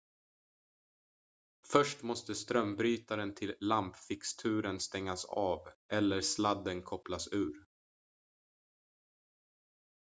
först måste strömbrytaren till lampfixturen stängas av eller sladden kopplas ur